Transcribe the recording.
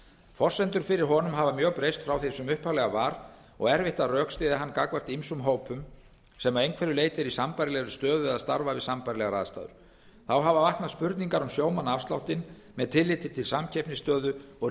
forsendur fyrir honum hafa breyst mjög frá því sem upphaflega var og erfitt að rökstyðja hann gagnvart ýmsum hópum sem að einhverju leyti eru í sambærilegri stöðu eða starfa við sambærilegar aðstæður þá hafa vaknað spurningar um sjómannaafsláttinn með tilliti til samkeppnisstöðu og